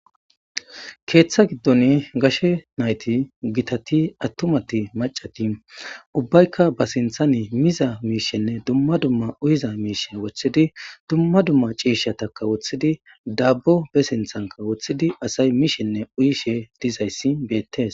Keeththa giddon gashe nayti gitati attumati macadi ubbaykka ba sinthan miza miishenne dumma dumma uyiza miishen wothidi dumma dumma ciishataka woththidi dabbo be sinthanka woththidi asay miishenne uyishe dizayssi beettes.